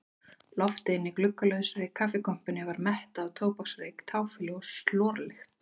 Loftið inni í gluggalausri kaffikompunni var mettað af tóbaksreyk, táfýlu og slorlykt.